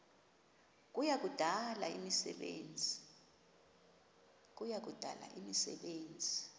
kuya kudala imisebenzi